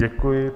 Děkuji.